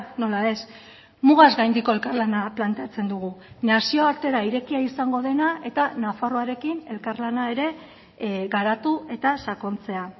nola ez mugaz gaindiko elkarlana planteatzen dugu nazioartera irekia izango dena eta nafarroarekin elkarlana ere garatu eta sakontzea